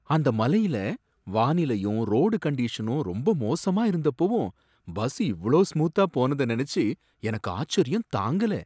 அந்த மலையில வானிலையும் ரோடு கண்டிஷனும் ரொம்ப மோசமா இருந்தப்பவும் பஸ் இவ்ளோ ஸ்மூத்தா போனத நனைச்சி எனக்கு ஆச்சரியம் தாங்கல!